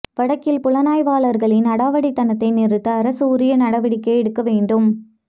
வடக்கில் புலனாய்வாளர்களின் அடாவடித்தனத்தை நிறுத்த அரசு உரிய நடவடிக்கை எடுக்க வேண்டும்